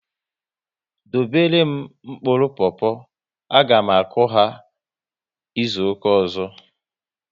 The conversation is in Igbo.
Dobere m mkpụrụ popo! A ga m akụ ha izuka ọzọ